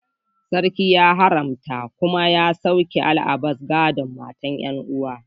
Sarki ya haramta kuma ya soke al'adar gadon mata 'yan'uwa